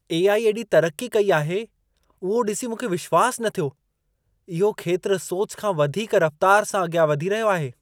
AI. एॾी तरकी कई आहे उहो ॾिसी मूंखे विश्वास न थियो। इहो खेत्रु सोच खां वधीक रफ़्तार सां अॻियां वधी रहियो आहे।